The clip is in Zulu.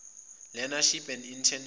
learneship and internship